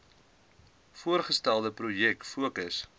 voorgestelde projek fokus